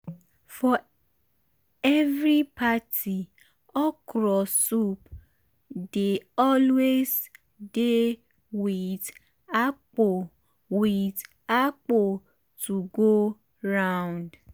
for every party okro soup dey always dey with akpu with akpu to go round.